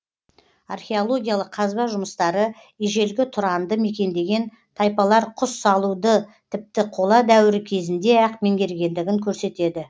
археологиялық қазба жұмыстары ежелгі тұранды мекендеген тайпалар құс салуды тіпті қола дәуірі кезінде ақ меңгергендігін көрсетеді